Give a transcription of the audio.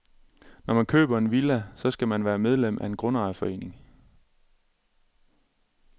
Når man køber en villa, så skal man være medlem af en grundejerforening.